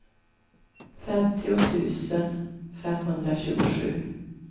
femtio tusen femhundratjugosju